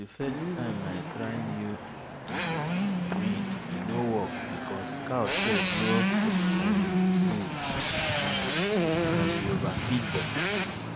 the first time i try new um breed e no work because cow shed no um good um and we overfeed dem